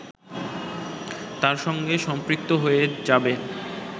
তার সঙ্গে সম্পৃক্ত হয়ে যাবে